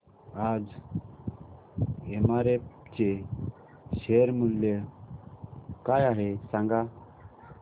आज एमआरएफ चे शेअर मूल्य काय आहे सांगा